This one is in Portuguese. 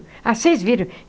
Ah, vocês viram.